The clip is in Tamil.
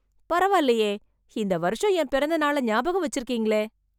பரவால்லயே, இந்த வருஷம் என் பிறந்த நாளை ஞாபகம் வெச்சுருக்கீங்களே...